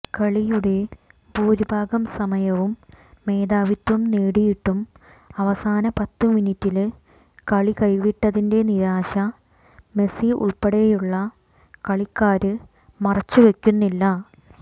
കളിയുടെ ഭൂരിഭാഗംസമയവും മേധാവിത്വം നേടിയിട്ടും അവസാന പത്ത് മിനിറ്റില് കളി കൈവിട്ടതിന്റെ നിരാശ മെസ്സി ഉള്പ്പെടെയുള്ള കളിക്കാര് മറച്ചുവെക്കുന്നില്ല